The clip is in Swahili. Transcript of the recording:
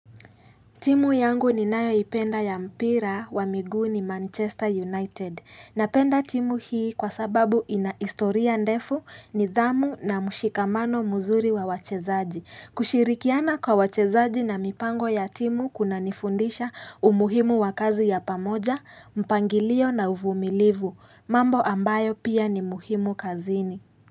Timu yangu ninayoipenda ya mpira wa miguu ni Manchester United. Napenda timu hii kwa sababu ina historia ndefu nidhamu na mshikamano mzuri wa wachezaji. Kushirikiana kwa wachezaji na mipango ya timu kunanifundisha umuhimu wa kazi ya pamoja, mpangilio na uvumilivu, mambo ambayo pia ni muhimu kazini.